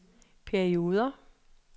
perioder